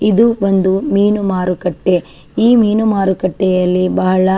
ಇದು ಒಂದು ಮೀನು ಮಾರುಕಟ್ಟೆ ಈ ಮೀನು ಮಾರುಕಟ್ಟೆಯಲ್ಲಿ ಬಹಳ --